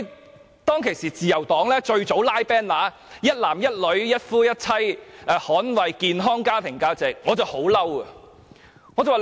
因此，當我看到自由黨早早便拉起橫額，展示"一男一女，一夫一妻，捍衞健康家庭價值"時，我感到很憤怒。